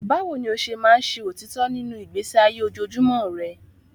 Báwo ni o ṣe máa ń ṣe òtítọ́ nínú ìgbésí ayé ojoojúmọ́ rẹ?